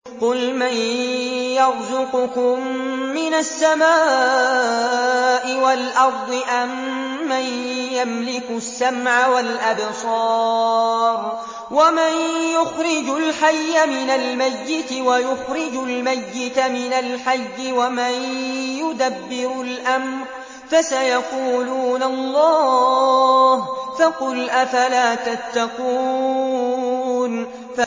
قُلْ مَن يَرْزُقُكُم مِّنَ السَّمَاءِ وَالْأَرْضِ أَمَّن يَمْلِكُ السَّمْعَ وَالْأَبْصَارَ وَمَن يُخْرِجُ الْحَيَّ مِنَ الْمَيِّتِ وَيُخْرِجُ الْمَيِّتَ مِنَ الْحَيِّ وَمَن يُدَبِّرُ الْأَمْرَ ۚ فَسَيَقُولُونَ اللَّهُ ۚ فَقُلْ أَفَلَا تَتَّقُونَ